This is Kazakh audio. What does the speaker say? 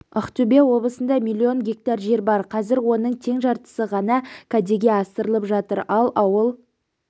ақтөбе облысында миллион гектар жер бар қазір оның тең жартысы ғана кәдеге асырылып жатыр ал ауыл